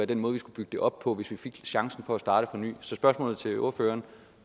den måde vi skulle bygge det op på hvis vi fik chancen for at starte på ny så spørgsmålet til ordføreren